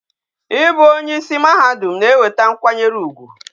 Ị bụ onye isi mahadum na-eweta nkwanyere ugwu